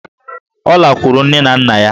Ọ lakwuru nne na nna ya.